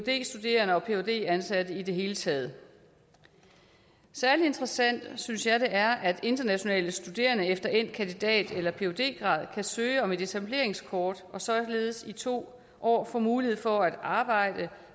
studerende og phd ansatte i det hele taget særligt interessant synes jeg det er at internationale studerende efter endt kandidat eller phd grad kan søge om et etableringskort og således i to år få mulighed for at arbejde